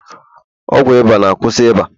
ọgwụ ịba na- kwusi ịba